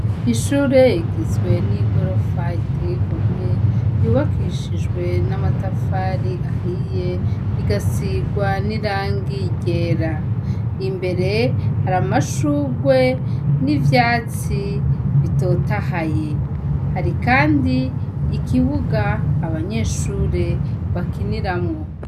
Ishure ugizwe n' igorofa iteye igomwe yubakishijwe n' amatafari ahiye igasirwa n' irangi ryera. Imbere hari amashurwe n' ivyatsi bitotahaye . Hari kandi ikibuga abanyeshure bakiniramwo.